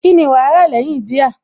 Kíni wàá rà lẹ́yìn jíà?